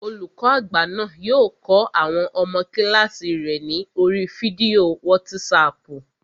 Olùkọ́ àgbà náà yóò kọ́ àwọn ọmọ kílààsì rẹ̀ ní oríi fídíò wátísapù